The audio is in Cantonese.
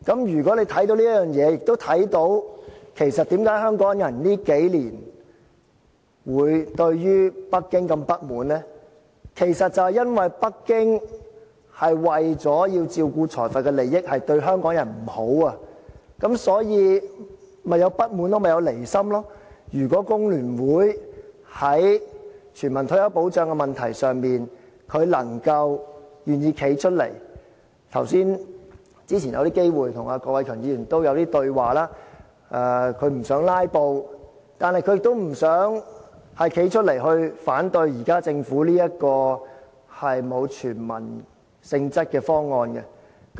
如果你看到這一點，亦看到為甚麼香港人這數年對北京這麼不滿，是因為北京為了照顧財閥的利益，對香港人不好，所以，香港人便產生不滿，有離心。如果工聯會在全民退休保障這個問題上，願意站出來——早前有機會跟郭偉强議員交談，他表示不想"拉布"，但亦不想站出來反對政府現在這個沒有全民性質的方案。